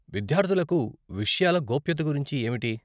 విద్యార్థులకు విషయాల గోప్యత గురించి ఏమిటి?